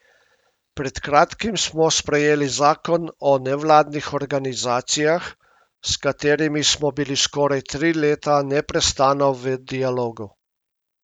Pred kratkim smo sprejeli zakon o nevladnih organizacijah, s katerimi smo bili skoraj tri leta neprestano v dialogu.